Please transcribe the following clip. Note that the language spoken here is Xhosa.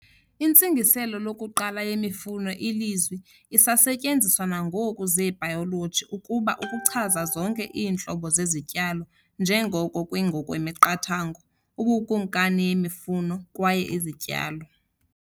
Intsingiselo lokuqala yemifuno ilizwi, isasetyenziswa nangoku zebhayoloji, ukuba ukuchaza zonke iintlobo zezityalo, njengoko kwi ngokwemiqathango "ubukumkani yemifuno" kwaye "izityalo".